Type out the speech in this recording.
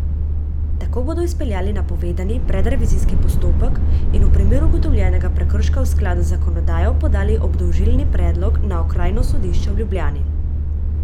Tako bodo izpeljali napovedani predrevizijski postopek in v primeru ugotovljenega prekrška v skladu z zakonodajo podali obdolžilni predlog na okrajno sodišče v Ljubljani.